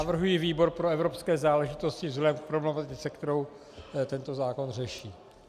Navrhuji výbor pro evropské záležitosti vzhledem k problematice, kterou tento zákon řeší.